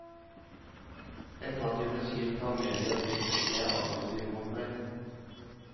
Etter at jeg ble skilt, har media blitt mer aggressiv mot meg.